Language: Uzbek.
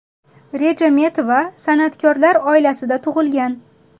Rejametova san’atkorlar oilasida tug‘ilgan.